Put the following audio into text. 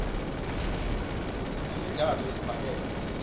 sinemidlo yesibhakela